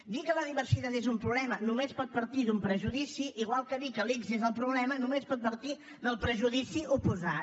dir que la diversitat és un problema només pot partir d’un prejudici igual que dir que l’ics és el problema només pot partir del prejudici oposat